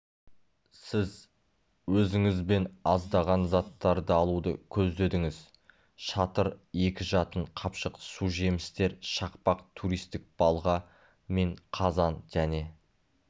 сіз өзіңізбен аздаған заттарды алуды көздедіңіз шатыр екі жатын қапшық су жемістер шақпақ туристік балға мен қазан және